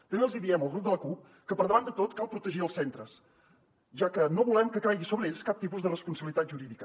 també els hi diem al grup de la cup que per davant de tot cal protegir els centres ja que no volem que caigui sobre ells cap tipus de responsabilitat jurídica